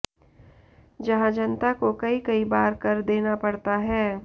जहां जनता को कई कई बार कर देना पड़ता है